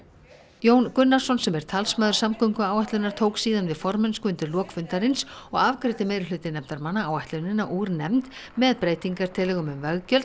Jón Gunnarsson sem er talsmaður samgönguáætlunar tók síðan við formennsku undir lok fundarins og afgreiddi meirihluti nefndarmanna áætlunina úr nefnd með breytingartillögum um veggjöld